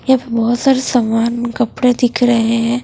ये बहुत सारे सामान कपड़े दिख रहे हैं।